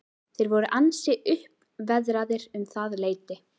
Þeir voru ansi uppveðraðir um það leyti.